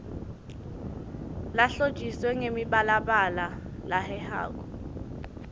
lehlotjiswe ngemibalabala lehehako